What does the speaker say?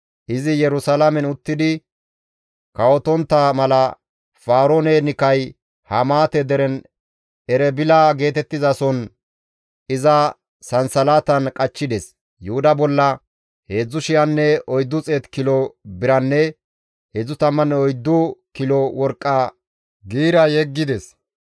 Izi Yerusalaamen uttidi kawotontta mala Faroon-Nikay Hamaate deren Erebila geetettizason iza sansalatan qachchides. Yuhuda bolla 3,400 kilo biranne 34 kilo worqqa giira yeggides.